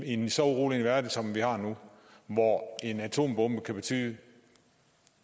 en så urolig verden som vi har nu hvor en atombombe kan betyde et